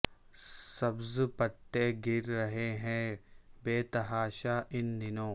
سبز پتے گر رہے ہیں بے تحاشا ان دنوں